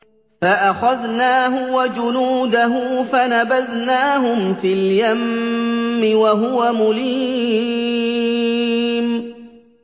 فَأَخَذْنَاهُ وَجُنُودَهُ فَنَبَذْنَاهُمْ فِي الْيَمِّ وَهُوَ مُلِيمٌ